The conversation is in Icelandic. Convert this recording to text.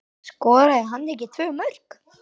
Skoraði hann ekki tvö mörk?